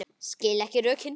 Skil ekki rökin.